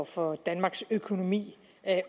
for danmarks økonomi